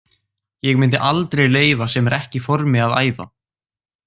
Ég myndi aldrei leyfa sem er ekki í formi að æfa.